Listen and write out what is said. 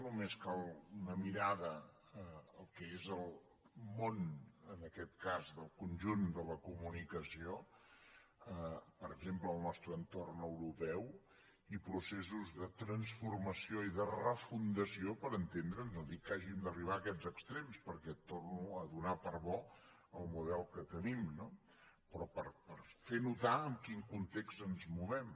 només cal una mirada al que és el món en aquest cas del conjunt de la comunicació per exemple al nostre entorn europeu i processos de transformació i de refundació per entendre’ns no dic que hàgim d’arribar a aquests extrems perquè torno a donar per bo el model que tenim no però per fer notar en quin context ens movem